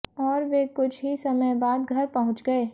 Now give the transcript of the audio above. और वे कुछ ही समय बाद घर पहुंच गए